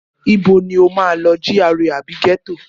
Ibo ni o máa lọ, GRA àbí ghetto?